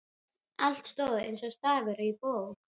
Allt stóð eins og stafur á bók.